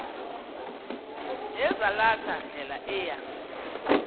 nezalatha ndlela eya